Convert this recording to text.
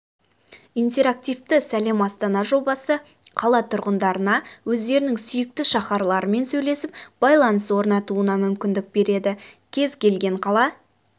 интерактивті сәлем астана жобасы қала тұрғындарына өздерінің сүйікті шаһарларымен сөйлесіп байланыс орнатуына мүмкіндік береді кез-келген қала